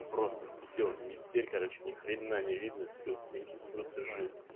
просто все метель короче ни хрена не видно все в снегу просто жесть